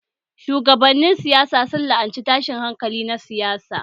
Shugabannin siyasa sun la'anci tashin hankali na siyasa